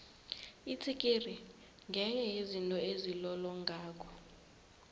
itsikiri ngenye yezinto ezilolongako